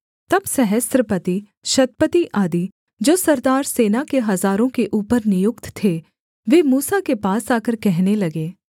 तब सहस्रपतिशतपति आदि जो सरदार सेना के हजारों के ऊपर नियुक्त थे वे मूसा के पास आकर कहने लगे